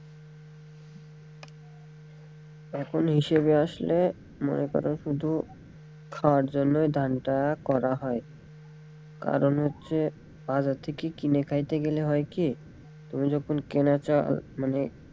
এখন হিসেবে আসলে মনে করো শুধু খাওয়ার জন্যই ধান টা করা হয় কারন হচ্ছে বাজার থেকে কিনে খাইতে গেলে হয়কি তুমি যখন কেনা চাল মানে,